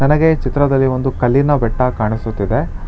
ನನಗೆ ಚಿತ್ರದಲ್ಲಿ ಒಂದು ಕಲ್ಲಿನ ಬೆಟ್ಟ ಕಾಣಿಸುತ್ತಿದೆ.